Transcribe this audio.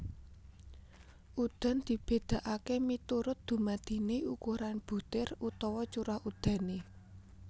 Udan dibedakaké miturut dumadiné ukuran butir utawa curah udané